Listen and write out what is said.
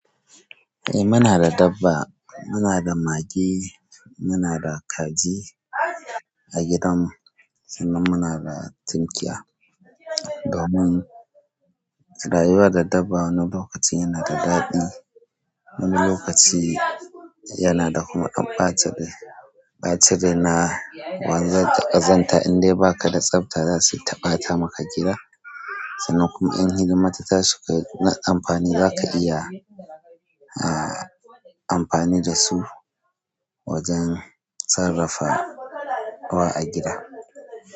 Eh muna da dabba. Muna da mage, muna da kaji a gidan mu sannan muna da tunkiya. Domin rayuwa da dabba wani lokaci yana da daɗi, wani lokaci yana da kuma ɓacin rai. Ɓacin rai na wanzar da ƙazanta in dai ba ka da tsafta za suyi ta ɓata maka gida sannan kuma in hidima tahsi kai na amfani za ka iya a, amfani da su wajen sarrafa wa a gida.